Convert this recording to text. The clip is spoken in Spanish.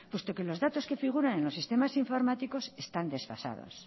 puesto que los datos que figuran en los sistemas informáticos están desfasados